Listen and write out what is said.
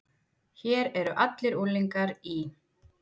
Hér eru allir unglingar í